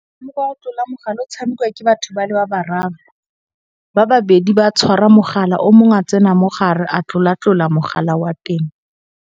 O tlola mogala o tshamekiwa ke batho ba le ba bararo. Ba babedi ba tshwara mogala o mongwe a tsena mogare a tlola-tlola mogala wa teng.